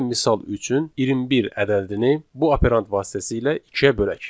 Gəlin misal üçün 21 ədədini bu operant vasitəsilə ikiyə bölək.